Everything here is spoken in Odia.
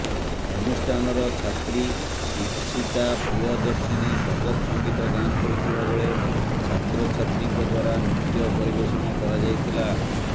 ଅନୁଷ୍ଠାନର ଛାତ୍ରୀ ଇପିସିତା ପ୍ରୀୟଦର୍ଶନୀ ସ୍ୱାଗତ ସଂଗୀତ ଗାନ କରିଥିବାବେଳେ ଛାତ୍ରଛାତ୍ରୀଙ୍କ ଦ୍ୱାରା ନୃତ୍ୟ ପରିବେଷଣ କରାଯାଇଥିଲା